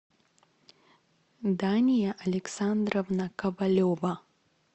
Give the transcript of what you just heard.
дания александровна ковалева